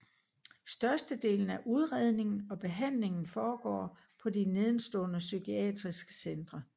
Størstedelen af udredningen og behandlingen foregår på de nedenstående psykiatriske centre